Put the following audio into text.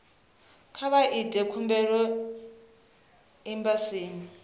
kha vha ite khumbelo embasini